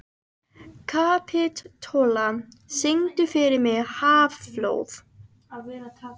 Kapitola, syngdu fyrir mig „Háflóð“.